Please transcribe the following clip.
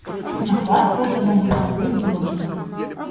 но хватка у того была бульдожья